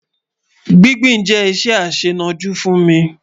Gbìngbìn jẹ iṣẹ aṣẹnọ̀jú fún mi